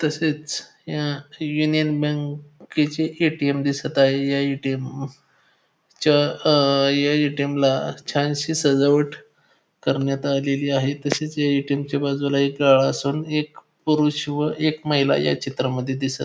तसेच या युनियन बँके चे ए_टी_एम दिसत आहे या ए_टी_एम च्या अं ए_टी_एम ला छानशी सजावट करण्यात आलेली आहे तसेच या ए_टी_एम च्या बाजूला एक काळासा एक पुरुष व एक महिला या चित्रामध्ये दिसत --